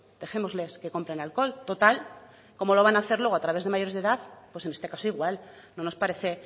dejémosles que compren alcohol total como lo van hacer luego a través de mayores de edad pues en este caso igual no nos parece